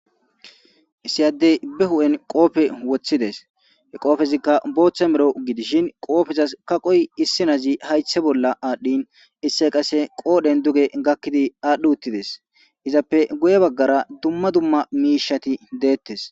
Issiyaddey be hu7en qoofe woththides he qoofezikka booththa mero gidishin qoofezas kaqoy issinazi haythe bolla aadhdhin isse qasse qoodhen duge gakkidi aadhdhi uttides izappe guye baggara dumma dumma miishati deettes